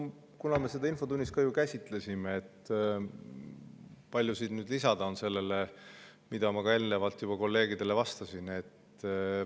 Kuna me seda infotunnis ju käsitlesime, siis palju siin nüüd ikka lisada on sellele, mida ma eelnevalt kolleegidele juba vastasin.